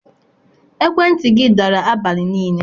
Ekwentị gị dara abalị niile.